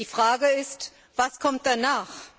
Die Frage ist Was kommt danach?